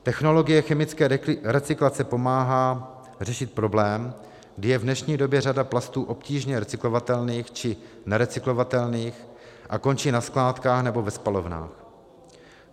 Technologie chemické recyklace pomáhá řešit problém, kdy je v dnešní době řada plastů obtížně recyklovatelných či nerecyklovatelných a končí na skládkách nebo ve spalovnách.